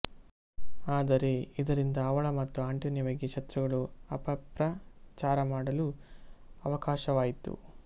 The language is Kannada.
ಆದರೆ ಇದರಿಂದ ಅವಳ ಮತ್ತು ಆಂಟೊನಿಯ ಬಗ್ಗೆ ಶತ್ರುಗಳು ಅಪಪ್ರಚಾರಮಾಡಲು ಅವಕಾಶವಾಯಿತು